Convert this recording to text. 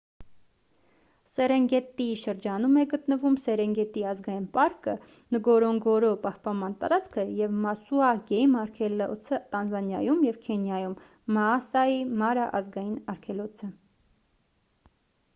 սերենգետիի շրջանում է գտնվում սերենգետի ազգային պարկը նգորոնգորո պահպանման տարածքը և մասուա գեյմ արգելոցը տանզանիայում և քենիայում մաասայի մարա ազգային արգելոցը